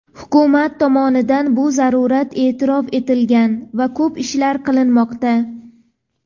Hukumat tomonidan bu zarurat eʼtirof etilgan va ko‘p ishlar qilinmoqda.